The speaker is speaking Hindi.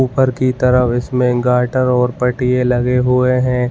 ऊपर की तरफ इसमें गटर और पटिए लगे हुए हैं।